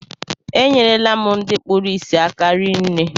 E nyere la m ndị kpụrụ isi aka rinne